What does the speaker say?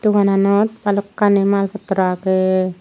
dogananot balokkani maal potrow agey.